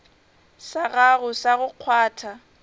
sa gago sa go kgwatha